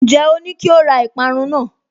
Ǹjẹ́ o ní kí ó ra ìparun náà?